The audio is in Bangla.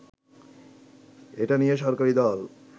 এটা নিয়ে সরকারি দল